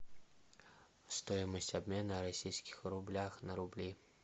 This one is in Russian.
стоимость обмена в российских рублях на рубли